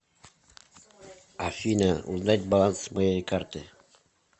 афина узнать баланс моей карты